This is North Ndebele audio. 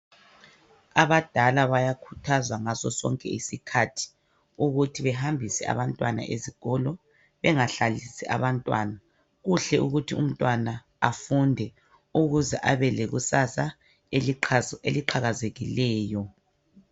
Abadala bayakhuthazwa ngasosonke isikhathi ukuthi behambise abantwana esikolo bengahlalisi abantwana. Kuhle ukuthi umntwana afunde ukuze ebelekusasa eliqhakazileyo.